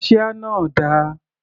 Kaṣíá náà dà?